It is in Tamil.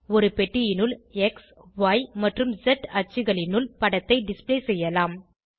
ஒரு பெட்டியினுள் xய் மற்றும் ஸ் அச்சுகளினுள் படத்தை டிஸ்ப்ளே செய்யலாம்